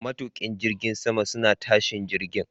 Matuƙan jirgin sama suna tashin jirgin.